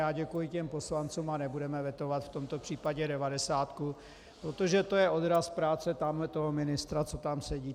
A děkuji těm poslancům a nebudeme vetovat v tomto případě devadesátku, protože je to odraz práce tamhletoho ministra, co tam sedí.